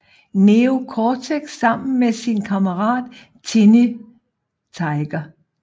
Neo Cortex sammen med sin kammerat Tiny Tiger